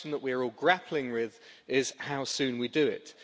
The question that we are all grappling with is how soon we do it.